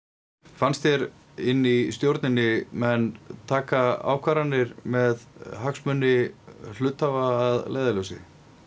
fannst þér inni í stjórninni menn taka ákvarðanir með hagsmuni hluthafa að leiðarljósi